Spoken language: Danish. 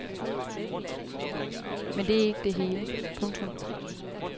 Men det er ikke det hele. punktum